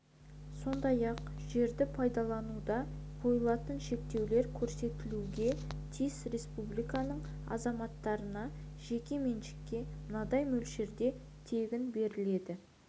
сондай-ақ жерді пайдалануда қойылатын шектеулер көрсетілуге тиіс республикасының азаматтарына жеке меншікке мынадай мөлшерде тегін беріледі